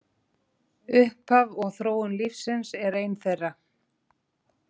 Upphaf og þróun lífsins er ein þeirra.